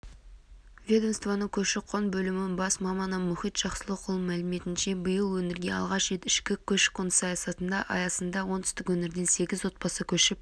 ведомствоның көші-қон бөлімінің бас маманы мұхит жақсылықұлының мәліметінше биыл өңірге алғаш рет ішкі көші-қон саясаты аясында оңтүстік өңірден сегіз отбасы көшіп